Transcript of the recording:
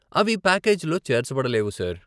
అవి ప్యాకేజీలో చేర్చబడలేవు, సార్.